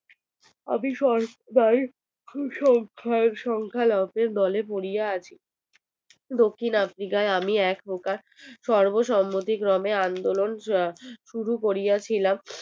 আমি সংখ্যা লঘু বদলে পড়িয়া আছে দক্ষিণ africa এ আমি এক প্রকার সর্ব সম্মতি ক্রমে আন্দোলন কিয়া শুরু করিয়াছিলাম